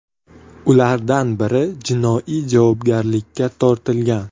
Ulardan biri jinoiy javobgarlikka tortilgan.